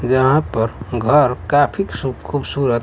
जहां पर घर काफी खूबसूरत --